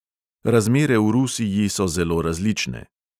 Razmere v rusiji so zelo različne.